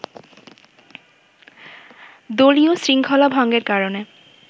দলীয় শৃঙ্খলা ভঙ্গের কারণে